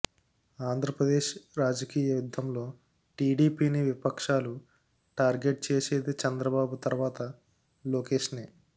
ఆంధ్రప్రదేశ్ రాజకీయ యుద్ధంలో టీడీపీని విపక్షాలు టార్గెట్ చేసేది చంద్రబాబు తర్వాత లోకేశ్నే